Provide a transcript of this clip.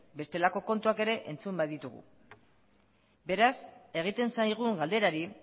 bestelako kontuak ere entzun baititugu beraz egiten zaigun galderari